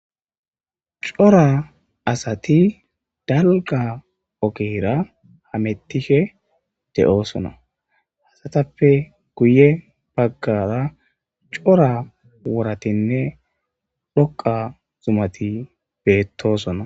Cora asati dalgga ogera hametishe de'osona izetappe guye baggara cora worati dhoqa zumat beetosona.